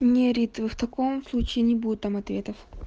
не рита в таком случае не будет там ответов